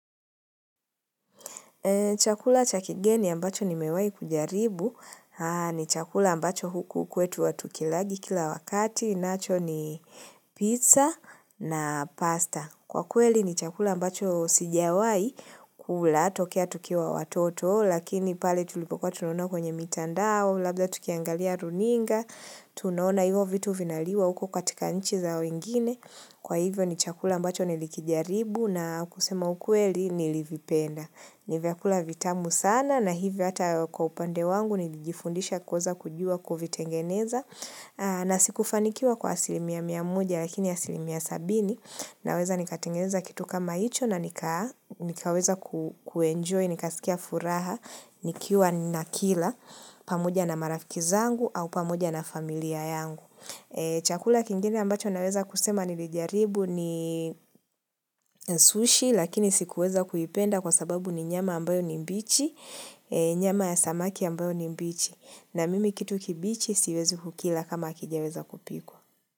Chakula chakigeni ambacho ni mewahi kujaribu. Ni chakula ambacho huku kwetu watu kilaji kila wakati. Nacho ni pizza na pasta. Kwa kweli ni chakula ambacho sijawai kula tokea tukiwa watoto. Lakini pale tulipokwa tunaona kwenye mitandao, labda tukiangalia runinga, tunaona hivyo vitu vinaliwa huko katika nchi zao ingine. Kwa hivyo ni chakula ambacho nilikijaribu na kusema ukweli nilivipenda. Nivya kula vitamu sana na hivyo hata kwa upande wangu nijifundisha kuwez kuvi kujua kovitengeneza. Na sikufanikiwa kwa asilimia mia moja lakini asilimia sabini na weza nikatengeneza kitu kama hicho na nikaweza kuenjoy, ni kasikia furaha, nikiwa na kila, pamoja na marafikizangu au pamoja na familia yangu. Chakula kingine ambacho naweza kusema nilijaribu ni sushi, lakini sikuweza kuipenda kwa sababu ni nyama ambayo ni mbichi, nyama ya samaki ambayo ni mbichi. Na mimi kitu kibichi siwezi kukila kama kijaweza kupikwa.